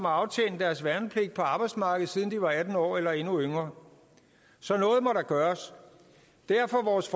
aftjent deres værnepligt på arbejdsmarkedet siden de var atten år eller endnu yngre så noget må der gøres derfor vores